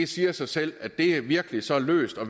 siger sig selv at det virkelig er så løst og